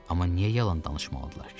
Amma niyə yalan danışmalıdırlar ki?